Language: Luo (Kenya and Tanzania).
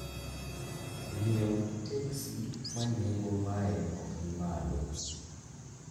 ng'iewo teksi ma nengo mae ok ni malo